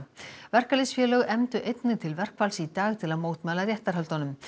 verkalýðsfélög efndu einnig til verkfalls í dag til að mótmæla réttarhöldunum